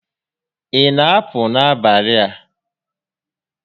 Ị na apụ n'abalị a?